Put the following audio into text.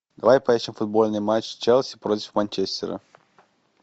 давай поищем футбольный матч челси против манчестера